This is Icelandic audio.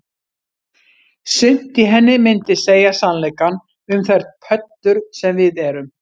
Sumt í henni myndi segja sannleikann um þær pöddur sem við erum